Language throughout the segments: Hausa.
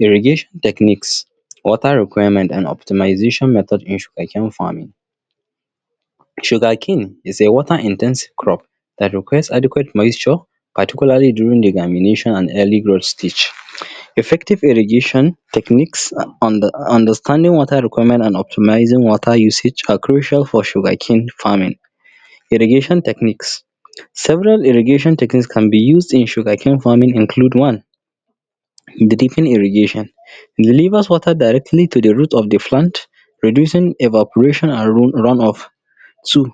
Irrigation techniques water requirement and optimization method issue that came from sugarcane is a water intensive crop that requires adequate moisture paticularly during the germination and early growth stage effective irrigation techniques are understanding water requirements and optimising water usage are crucial for sugarcane farming irrigation techniques several irrigation techniques can be used in sugarcane farming include one irrigation the rivers water directly to the roots of the plant reducing evaporation and run off so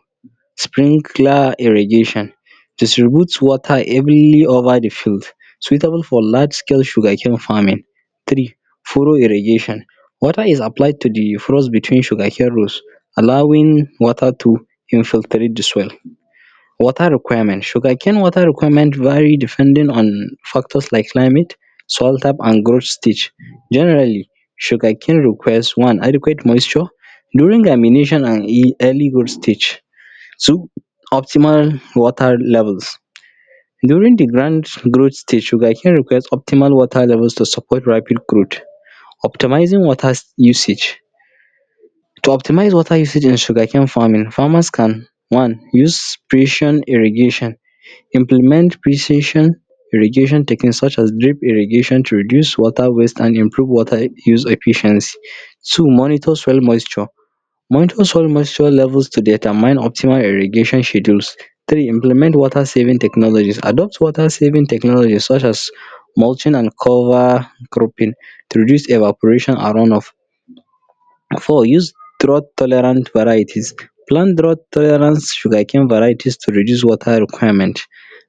sprinkler irrigation distribute water evenly over the fruit suitable for large scale sugarcane farming three furrow irrigation water is applied to the friuts between sugarcane rose allowing water to infiltrate the soil water requirement sugarcane water requirements vary depending on factors like climate soil type and growth stage generally sugarcane requires one adequate moisture during germination and early growth stage two optimal water levels during the grand growth stage sugarcane requires optimal water level to support rapid growth optimising water usage to optimise water usage in sugarcane farming farmers can one use irrigation implement precision irrigation techniques such as irrigation to reduce water waste and improve water use efficiency so monitor soil moisture monitor soil moisture level to determine optimal irrigation schedule three implement water saving technology adopt water saving technologies such as mulching and cover cropping to reduce evaporation and run off four use drop tolerant varieties plant drought tolerant varieties to reduce water requirement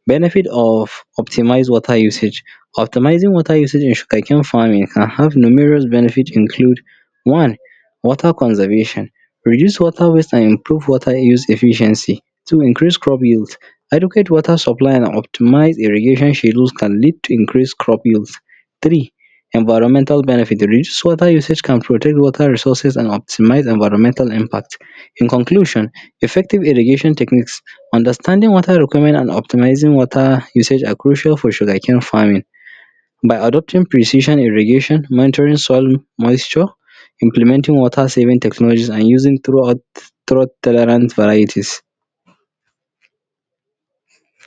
benefit of optimised water usage optimising water usage in sugarcane farming can have numerous benefits include one water conservation reduce water water and improve water insufficiency two increase crop yield adequate water supply and optimised irrigation schedules can lead to increased crop yeild three environmental benefit usage can protect water resources and optimise environmental impact in conclusion effective irrigation techniques understanding water requirements and optimising water usage are crucial for sugarcane farming by adopting precision in irrigation monitoring soil moisture implementing water saving technologies and using drought tolerant varieties.